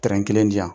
kelen di yan